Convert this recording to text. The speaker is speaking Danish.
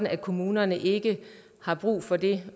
at kommunerne ikke har brug for det